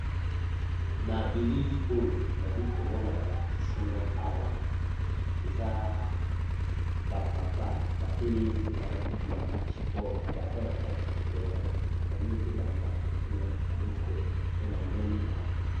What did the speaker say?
Na bilili nazali komona, balakisi ngai awa, eza ba tata mingi batelemi pe balati bilamba yabomesano